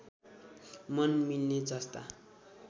मन मिल्ने जस्ता